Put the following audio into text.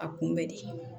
A kunbɛ de